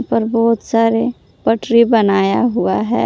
और बहुत सारे पटरी बनाया हुआ है।